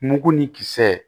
Mugu ni kisɛ